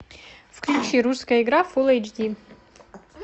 включи русская игра фул эйч ди